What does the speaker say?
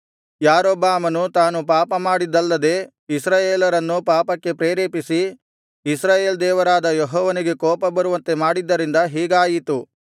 ಯಾರೊಬ್ಬಾಮನು ತಾನು ಪಾಪಮಾಡಿದ್ದಲ್ಲದೆ ಇಸ್ರಾಯೇಲರನ್ನೂ ಪಾಪಕ್ಕೆ ಪ್ರೇರೇಪಿಸಿ ಇಸ್ರಾಯೇಲ್ ದೇವರಾದ ಯೆಹೋವನಿಗೆ ಕೋಪಬರುವಂತೆ ಮಾಡಿದ್ದರಿಂದ ಹೀಗಾಯಿತು